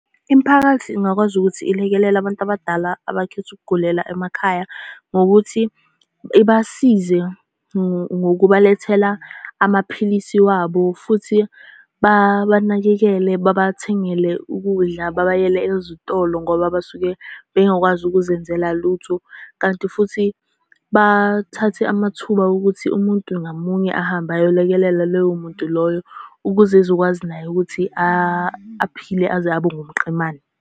Imiphakathi ingakwazi ukuthi ilekelele abantu abadala abakhetha ukugugela emakhaya ngokuthi ibasize, ngokubalethela amaphilisi wabo, futhi babanakekele, babathengele ukudla, babayele ezitolo ngoba basuke bengakwazi ukuzenzela lutho. Kanti futhi bathathe amathuba wokuthi umuntu ngamunye ahambe ayolekelela loyo muntu loyo, ukuze ezokwazi naye ukuthi aphile aze abe ngumqemane.